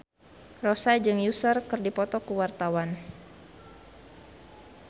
Rossa jeung Usher keur dipoto ku wartawan